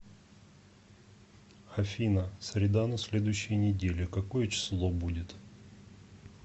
афина среда на следующей неделе какое число будет